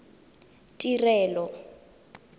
tirelo